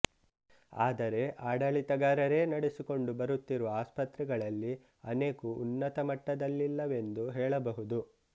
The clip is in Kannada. ಆದರೆ ಆಡಳಿತಗಾರರೇ ನಡೆಸಿಕೊಂಡು ಬರುತ್ತಿರುವ ಆಸ್ಪತ್ರೆಗಳಲ್ಲಿ ಅನೇಕು ಉನ್ನತಮಟ್ಟದಲ್ಲಿಲ್ಲವೆಂದು ಹೇಳಬಹುದು